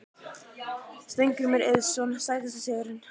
Steingrímur Eiðsson Sætasti sigurinn?